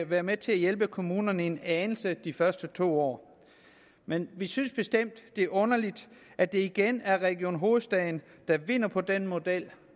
være med til at hjælpe kommunerne en anelse de første to år men vi synes bestemt det er underligt at det igen er region hovedstaden der vinder på den model